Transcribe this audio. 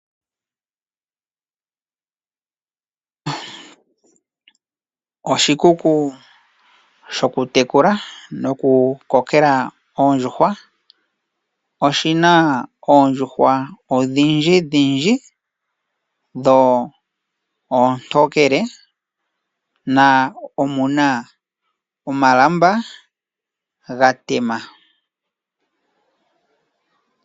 Oshikuku shokutekula nokukokela oondjuhwa. Oshi na oondjuhwa odhindjidhindji, dho oontokele nomu na omalamba gatema.